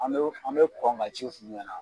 An an me kɔn ka ci f'u ɲɛna